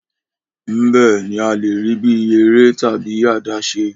Mbẹ ni a le rii bi ere tabi adaṣe